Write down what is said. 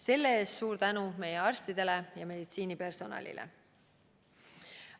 Selle eest suur tänu meie arstidele ja kogu meditsiinipersonalile!